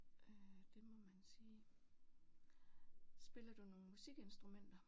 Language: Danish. Øh det må man sige. Spiller du nogen musikinstrumenter?